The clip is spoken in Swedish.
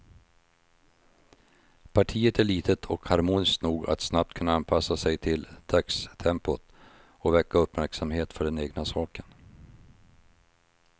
Partiet är litet och harmoniskt nog att snabbt kunna anpassa sig till dagstempot och väcka uppmärksamhet för den egna saken.